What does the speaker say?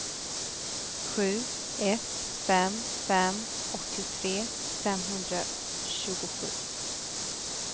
sju ett fem fem åttiotre femhundratjugosju